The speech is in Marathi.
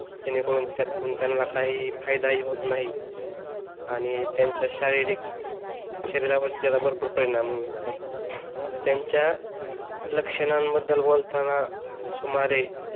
जेणेकरून त्यातून त्यांना काही फायदा ही होत नाही आणि त्यांच्या शारीरिक शरीरावर त्याचा भरपूर परिणाम होतो त्यांच्या लक्षणांबद्दल बोलताना सुमारे